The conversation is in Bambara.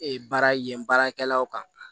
baara yen baarakɛlaw kan